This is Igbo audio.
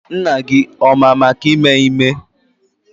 Nna gị ọ ma maka ime ime?